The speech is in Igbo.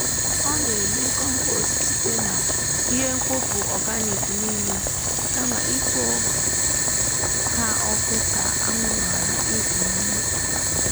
ọ na-eme kọmpost site na ihe mkpofu organic niile kama ịkpo ha ọkụ ka anwụrụ ghara ịpụ n’ime ikuku.